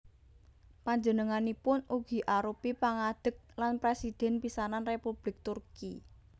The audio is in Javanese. Panjenenganipun ugi arupi pangadeg lan Présidhèn pisanan Républik Turki